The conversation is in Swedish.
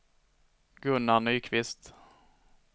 Gunnar Nyqvist